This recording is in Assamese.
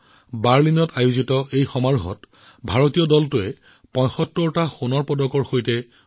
ৰোলাৰ স্কেটিঙেই হওক বীচ্চ ভলীবলেই হওক ফুটবলেই হওক বা টেনিছেই হওক সকলোতে ভাৰতীয় খেলুৱৈয়ে পদক লাভ কৰিছিল